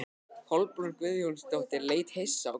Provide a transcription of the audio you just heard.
Kolbrún Guðjónsdóttir leit hissa á Gunnar.